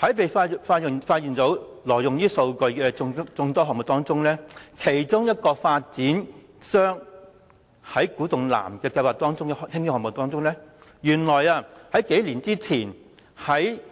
在被揭發挪用數據的眾多項目當中，包括一個計劃在古洞南興建的項目，原來數年前